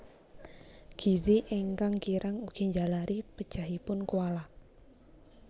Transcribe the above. Gizi ingkang kirang ugi njalari pejahipun koala